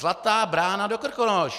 Zlatá brána do Krkonoš.